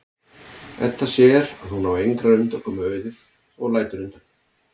Edda sér að hún á engrar undankomu auðið og lætur undan.